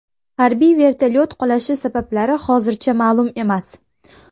Harbiy vertolyot qulashi sabablari hozircha ma’lum emas.